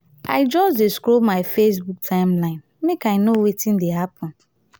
i just dey scroll my facebook timeline make i know wetin dey happen.